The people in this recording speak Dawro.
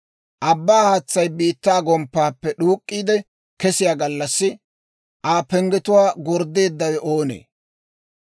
«Abbaa haatsay, biittaa gomppaappe d'uuk'k'iide kesiyaa gallassi, Aa penggetuwaa gorddeeddawe oonee?